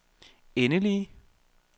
endelige